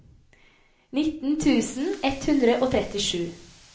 nitten tusen ett hundre og trettisju